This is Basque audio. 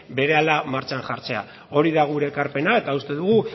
berehala martxan jartzea hori da gure ekarpena eta uste dugu